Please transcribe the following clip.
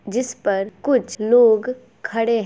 जिस पर कुछ लोग खड़े हैं।